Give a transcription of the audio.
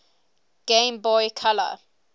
game boy color